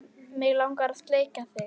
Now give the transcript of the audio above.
Mig langar að sleikja þig.